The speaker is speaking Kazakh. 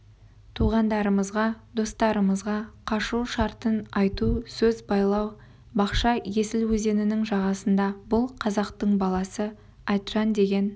туғандарымызға достарымызға қашу шартын айту сөз байлау бақша есіл өзенінің жағасында бұл қазақтың баласы айтжан деген